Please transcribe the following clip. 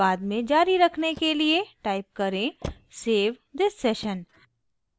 बाद में जारी रखने के लिए टाइप करें save thissession